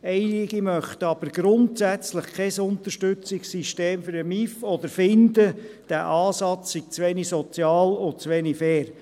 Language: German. Einige möchten aber grundsätzlich kein Unterstützungssystem für den MIV oder finden, dieser Ansatz sei zu wenig sozial und zu wenig fair.